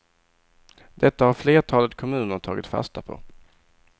Detta har flertalet kommuner tagit fasta på.